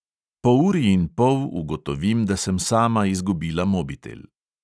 Po uri in pol ugotovim, da sem sama izgubila mobitel.